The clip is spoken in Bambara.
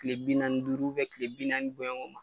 Kile bi naani ni duuru bɛ kile bi naani bɔɲɔgo ma.